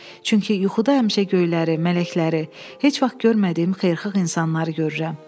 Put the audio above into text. Çünki yuxuda həmişə göyləri, mələkləri, heç vaxt görmədiyim xeyirxax insanları görürəm.